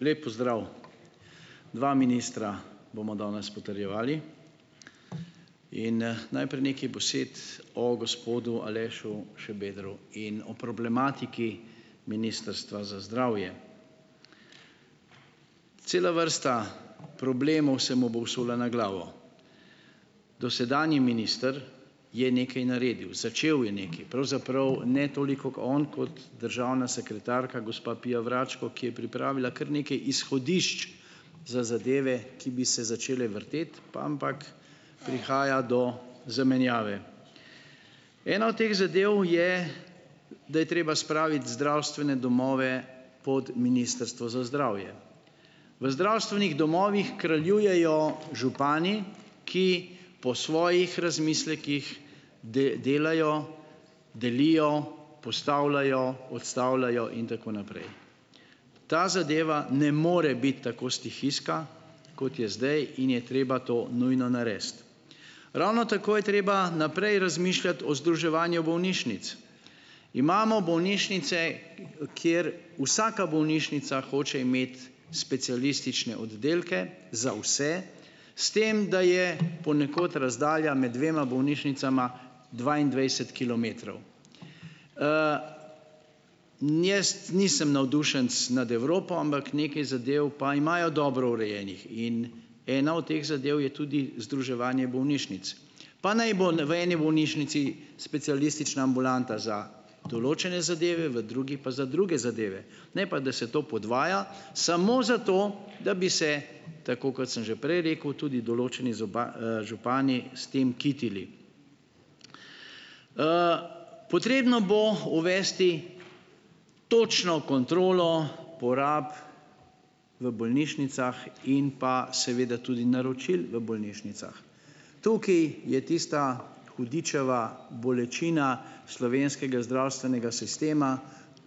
Lep pozdrav! Dva ministra bomo danes potrjevali in, najprej nekaj besed o gospodu Alešu Šabedru in o problematiki ministrstva za zdravje. Cela vrsta problemov se mu bo vsula na glavo. Dosedanji minister je nekaj naredil. Začel je nekaj, pravzaprav ne toliko on kot državna sekretarka, gospa Pia Vračko, ki je pripravila kar nekaj izhodišč za zadeve, ki bi se začele vrteti, ampak prihaja do zamenjave. Ena od teh zadev je, da je treba spraviti zdravstvene domove pod ministrstvo za zdravje. V zdravstvenih domovih kraljujejo župani, ki po svojih razmislekih delajo, delijo, postavljajo, odstavljajo in tako naprej. Ta zadeva ne more biti tako stihijska, kot je zdaj, in je treba to nujno narediti. Ravno tako je treba naprej razmišljati o združevanju bolnišnic. Imamo bolnišnice, kjer vsaka bolnišnica hoče imeti specialistične oddelke za vse, s tem, da je ponekod razdalja med dvema bolnišnicama dvaindvajset kilometrov. Jaz nisem navdušenec nad Evropo, ampak nekaj zadev pa imajo dobro urejenih in ena od teh zadev je tudi združevanje bolnišnic. Pa naj bo v eni bolnišnici specialistična ambulanta za določene zadeve, v drugi pa za druge zadeve, ne pa, da se to podvaja samo zato, da bi se, tako kot sem že prej rekel, tudi določeni župani s tem kitili. Potrebno bo uvesti točno kontrolo porab v bolnišnicah in pa seveda tudi naročil v bolnišnicah. Tukaj je tista hudičeva bolečina slovenskega zdravstvenega sistema,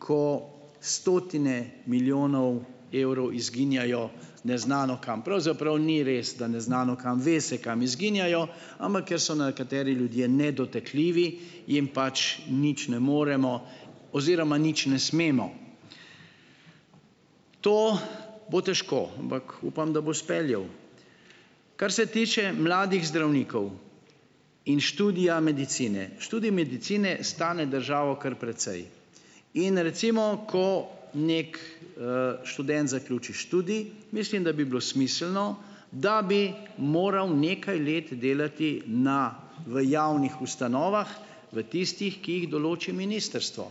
ko stotine milijonov evrov izginjajo neznano kam, pravzaprav ni res, da neznano kam, ve se, kam izginjajo, ampak ker so nekateri ljudje nedotakljivi, jim pač nič ne moremo oziroma nič ne smemo. To bo težko, ampak upam, da bo speljal. Kar se tiče mladih zdravnikov in študija medicine. Študij medicine stane državo kar precej in recimo, ko neki, študent zaključi študij, mislim, da bi bilo smiselno, da bi moral nekaj let delati na v javnih ustanovah, v tistih, ki jih določi ministrstvo.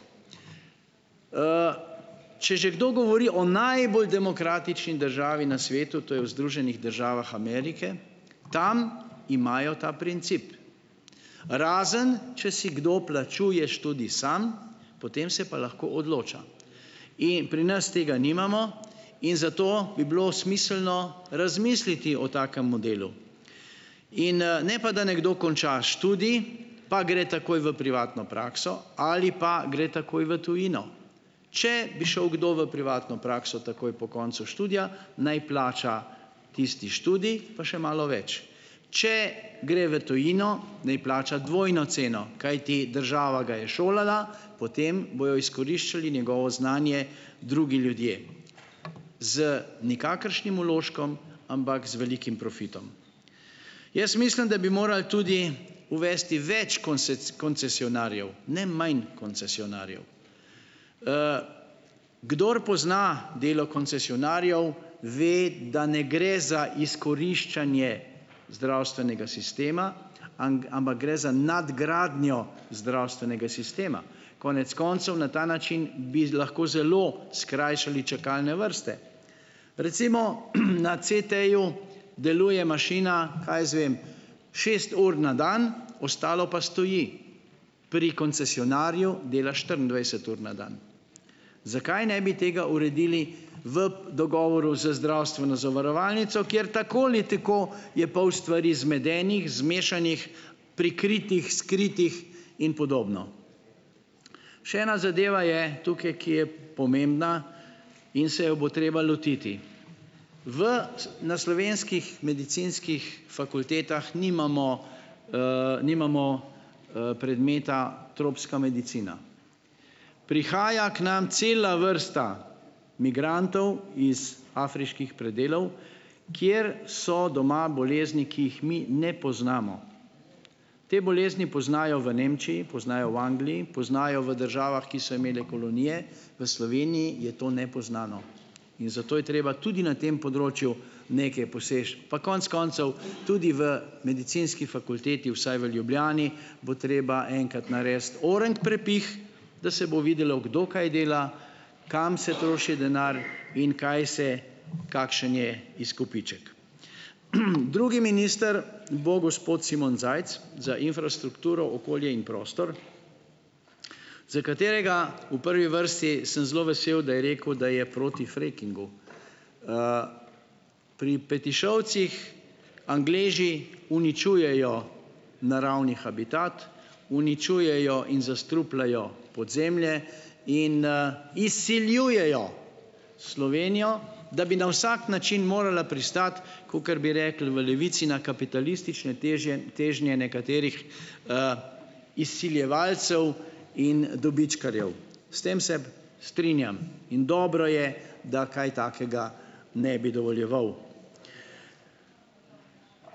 Če že kdo govori o najbolj demokratični državi na svetu, to je o Združenih državah Amerike, tam imajo ta princip, razen če si kdo plačuje študij sam, potem se pa lahko odloča. In pri nas tega nimamo in zato bi bilo smiselno razmisliti o takem modelu. In, ne pa, da nekdo konča študij, pa gre takoj v privatno prakso ali pa gre takoj v tujino. Če bi šel kdo v privatno prakso takoj po koncu študija, naj plača tisti študij pa še malo več. Če gre v tujino, naj plača dvojno ceno, kajti država ga je šolala, potem bodo izkoriščali njegovo znanje drugi ljudje z nikakršnim vložkom, ampak z velikim profitom. Mislim, da bi morali tudi uvesti več koncesionarjev, ne manj koncesionarjev. Kdor pozna delo koncesionarjev, ve, da ne gre za izkoriščanje zdravstvenega sistema, ampak gre za nadgradnjo zdravstvenega sistema. Konec koncev, na ta način bi lahko zelo skrajšali čakalne vrste. Recimo, na CT-ju deluje mašina, kaj jaz vem, šest ur na dan, ostalo pa stoji. Pri koncesionarju dela štiriindvajset ur na dan. Zakaj ne bi tega uredili v dogovoru z zdravstveno zavarovalnico, kjer tako ali tako je pol stvari zmedenih, zmešanih, prikritih, skritih in podobno. Še ena zadeva je tukaj, ki je pomembna, in se jo bo treba lotiti. V, na slovenskih medicinskih fakultetah nimamo, nimamo, predmeta tropska medicina. Prihaja k nam cela vrsta migrantov iz afriških predelov, kjer so doma bolezni, ki jih mi ne poznamo. Te bolezni poznajo v Nemčiji, poznajo v Angliji, poznajo v državah, ki so imele kolonije. V Sloveniji je to nepoznano. In zato je treba tudi na tem področju nekaj pa konec koncev tudi v medicinski fakulteti, vsaj v Ljubljani, bo treba enkrat narediti oreng prepih, da se bo videlo, kdo kaj dela, kam se troši denar in kaj se, kakšen je izkupiček. drugi minister bo gospod Simon Zajc za infrastrukturo, okolje in prostor, za katerega v prvi vrsti sem zelo vesel, da je rekel, da je proti frackingu. Pri Petišovcih Angleži uničujejo naravni habitat. Uničujejo in zastrupljajo podzemlje in, izsiljujejo Slovenijo, da bi na vsak način morala pristati, kakor bi rekli v Levici, na kapitalistične težnje nekaterih, izsiljevalcev in dobičkarjev. S tem se strinjam. In dobro je, da kaj takega ne bi dovoljeval.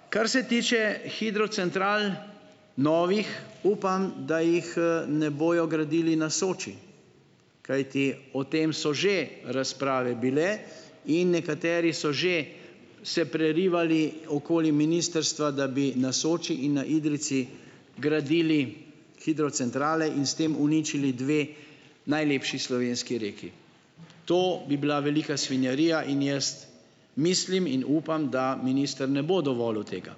Kar se tiče hidrocentral, novih, upam, da jih, ne bojo gradili na Soči. Kajti o tem so že razprave bile in nekateri so že se prerivali okoli ministrstva, da bi na Soči in na Idrijci gradili hidrocentrale in s tem uničili dve najlepši slovenski reki. To bi bila velika svinjarija in jaz mislim in upam, da minister ne bo dovolil tega.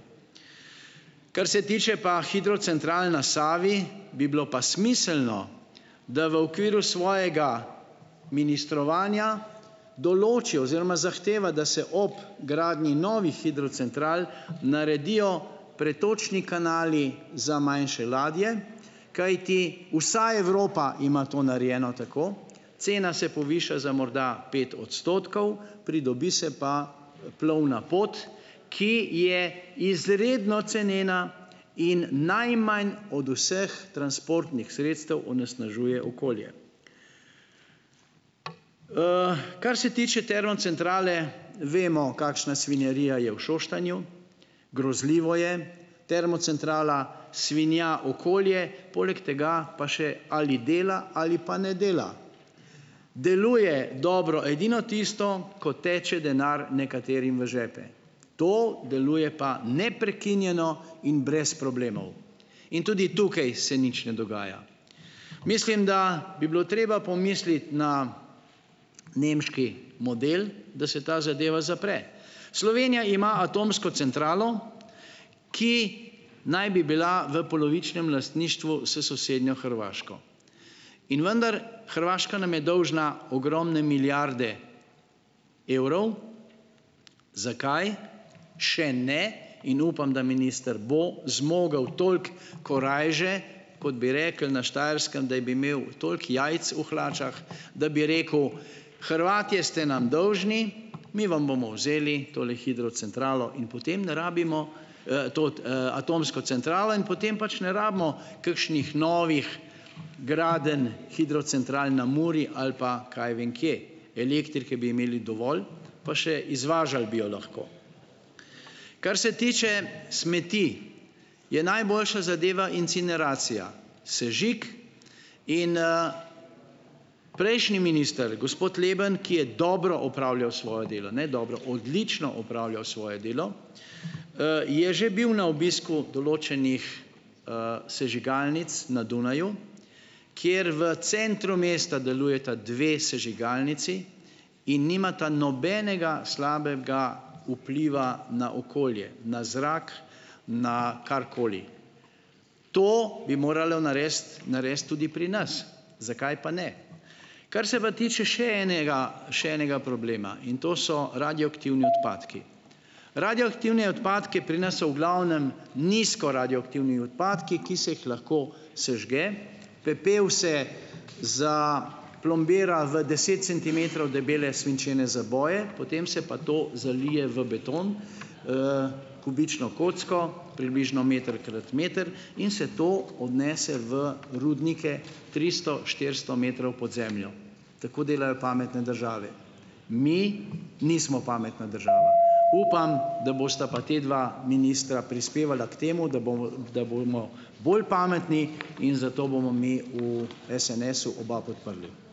Kar se tiče pa hidrocentral na Savi, bi bilo pa smiselno, da v okviru svojega ministrovanja določi oziroma zahteva, da se ob gradnji novih hidrocentral naredijo pretočni kanali za manjše ladje. Kajti vsa Evropa ima to narejeno tako, cena se poviša za morda pet odstotkov, pridobi se pa plovna pot, ki je izredno cenena in najmanj od vseh transportnih sredstev onesnažuje okolje. Kar se tiče termocentrale, vemo, kakšna svinjarija je v Šoštanju, grozljivo je. Termocentrala svinja okolje, poleg tega pa še ali dela ali pa ne dela. Deluje dobro edino tisto, ko teče denar nekaterim v žepe. To deluje pa neprekinjeno in brez problemov. In tudi tukaj se nič ne dogaja. Mislim, da bi bilo treba pomisliti na nemški model, da se ta zadeva zapre. Slovenija ima atomsko centralo, ki naj bi bila v polovičnem lastništvu s sosednjo Hrvaško. In vendar Hrvaška nam je dolžna ogromne milijarde evrov. Zakaj še ne in upam, da minister bo zmogel toliko korajže, kot bi rekli na Štajerskem, da bi imel toliko jajc v hlačah, da bi rekel, Hrvatje ste nam dolžni, mi vam bomo vzeli tole hidrocentralo in potem ne rabimo, to, atomsko centralo in potem pač ne rabimo kakšnih novih gradenj hidrocentral na Muri ali pa kaj vem kje. Elektrike bi imeli dovolj, pa še izvažali bi jo lahko. Kar se tiče smeti, je najboljša zadeva incineracija, sežig. In, Prejšnji minister, gospod Leben, ki je dobro opravljal svoje delo, ne dobro, odlično opravljal svoje delo, je že bil na obisku določenih, sežigalnic na Dunaju, kjer v centru mesta delujeta dve sežigalnici in nimata nobenega slabega vpliva na okolje, na zrak, na karkoli. To bi moralo narediti, narediti tudi pri nas. Zakaj pa ne? Kar se pa tiče še enega še enega problema, in to so radioaktivni odpadki. Radioaktivni odpadki pri nas so v glavnem nizkoradioaktivni odpadki, ki se jih lahko sežge. Pepel se za plombira v deset centimetrov debele svinčene zaboje, potem se pa to zalije v beton, kubično kocko, približno meter krat meter, in se to odnese v rudnike tristo, štiristo metrov pod zemljo. Tako delajo pametne države. Mi nismo pametna država. Upam, da bosta pa ta dva ministra prispevala k temu, da bomo da bomo bolj pametni in zato bomo mi v SNS-u oba podprli.